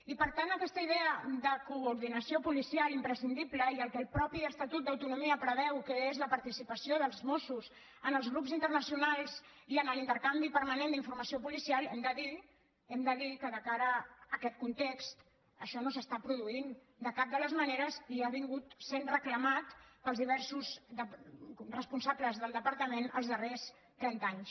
i per tant aquesta idea de coordinació policial imprescindible i el que el mateix estatut d’autonomia preveu que és la participació dels mossos en els grups internacionals i en l’intercanvi permanent d’informació policial hem de dir hem de dir que de cara a aquest context això no s’està produint de cap de les maneres i ha estat sent reclamant pels diversos responsables del departament els darrers trenta anys